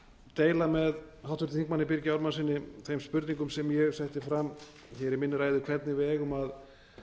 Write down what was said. deila með háttvirtum þingmanni birgi ármannssyni þeim spurningum sem ég setti fram hér í minni ræðu hvernig við eigum að